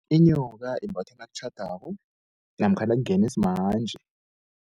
Inyoka ibathwa nakutjhadwako namkha nakungeni smanje.